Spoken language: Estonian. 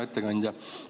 Hea ettekandja!